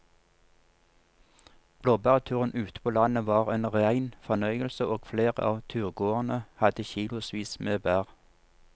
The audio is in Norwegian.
Blåbærturen ute på landet var en rein fornøyelse og flere av turgåerene hadde kilosvis med bær.